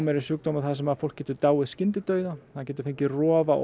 er sjúkdómur þar sem fólk getur dáið skyndidauða það getur fengið rof á